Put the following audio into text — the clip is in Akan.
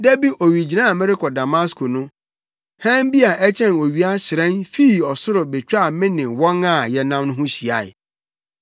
Daasebrɛ, da bi owigyinae a merekɔ Damasko no hann bi a ɛkyɛn owia hyerɛn fii ɔsoro betwaa me ne wɔn a yɛnam no ho hyiae.